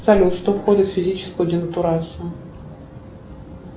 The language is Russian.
салют что входит в физическую денатурацию